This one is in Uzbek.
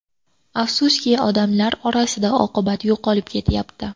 Afsuski, odamlar orasida oqibat yo‘qolib ketyapti.